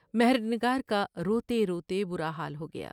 مہر نگار کا روتے روتے برا حال ہو گیا ۔